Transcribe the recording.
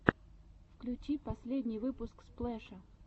включи последний выпуск сплэша